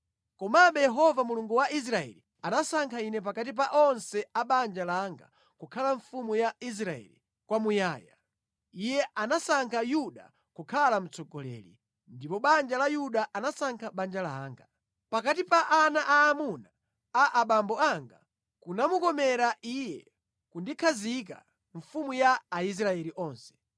“Komabe Yehova Mulungu wa Israeli anasankha ine pakati pa onse a banja langa kukhala mfumu ya Israeli kwamuyaya. Iye anasankha Yuda kukhala mtsogoleri, ndipo pa banja la Yuda anasankha banja langa. Pakati pa ana aamuna a abambo anga, kunamukomera Iye kundikhazika mfumu ya Aisraeli onse.